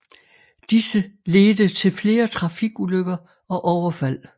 Disse ledte til flere trafikulykker og overfald